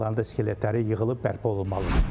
Onların da skeletləri yığılıb bərpa olunmalıdır.